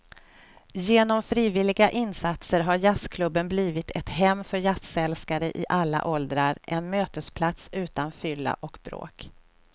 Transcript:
Genom frivilliga insatser har jazzklubben blivit ett hem för jazzälskare i alla åldrar, en mötesplats utan fylla och bråk.